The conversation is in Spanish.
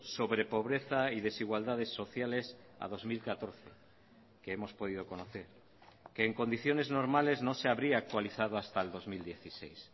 sobre pobreza y desigualdades sociales a dos mil catorce que hemos podido conocer que en condiciones normales no se habría actualizado hasta el dos mil dieciséis